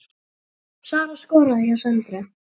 Sara skoraði hjá Söndru